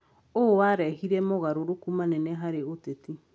Ũũ warehire mogarũrũku manene harĩ ũteti.